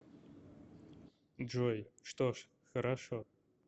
джой что ж хорошо